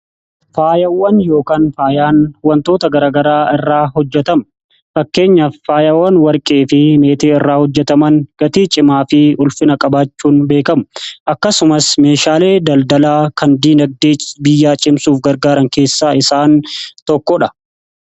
Faayawwan yookaan faayaan wantoota garagaraa irraa hojjetamu fakkeenya faayawwan warqee fi meetii irraa hojjetaman gatii cimaa fi ulfina qabaachuun beekamu akkasumas meeshaalee daldalaa kan diinagdee biyyaa cimsuuf gargaaran keessaa isaan tokkoodha.